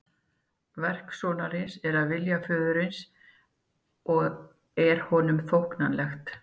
Verk sonarins er að vilja föðurins og er honum þóknanlegt.